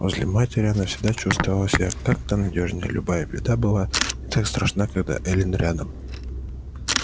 возле матери она всегда чувствовала себя как-то надёжней любая беда была не так страшна когда эллин рядом